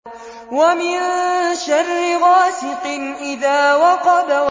وَمِن شَرِّ غَاسِقٍ إِذَا وَقَبَ